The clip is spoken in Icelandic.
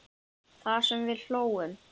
Það sem við hlógum.